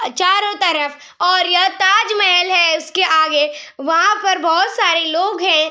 चारों तरफ और यह ताज महल है उसके आगे। वहाँ पर बहोत सारे लोग हैं।